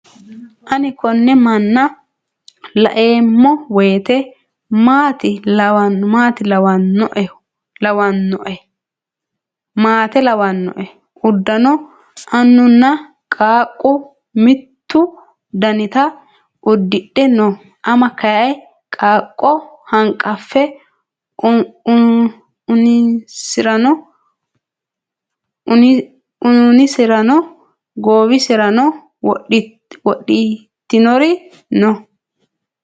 Ani konne manna laeemma woyiite maate lawannoe. Uddano annunna qaaqqu mittu danita udidhe no. Ama kayii qaaqqo hanqaffe uniserano goowiserano wodhitinori no.